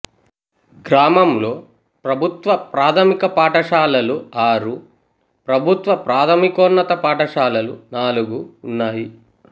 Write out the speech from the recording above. గ్రామంలో ప్రభుత్వ ప్రాథమిక పాఠశాలలు ఆరు ప్రభుత్వ ప్రాథమికోన్నత పాఠశాలలు నాలుగు ఉన్నాయి